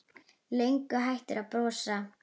Löngu hættur að brosa.